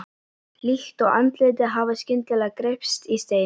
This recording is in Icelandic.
Líkt og andlitið hafi skyndilega greypst í stein.